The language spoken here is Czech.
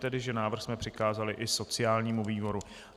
tedy, že návrh jsme přikázali i sociálnímu výboru.